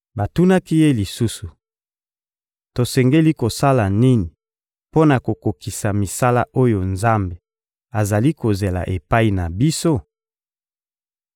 Batunaki Ye lisusu: — Tosengeli kosala nini mpo na kokokisa misala oyo Nzambe azali kozela epai na biso?